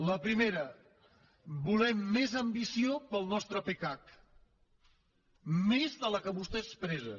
la primera volem més ambició per al nostre pecac més de la que vostè expressa